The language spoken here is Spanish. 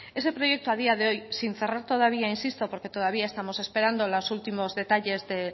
ese proyecto a día de hoy sin cerrar todavía insisto porque todavía estamos esperando los últimos detalles de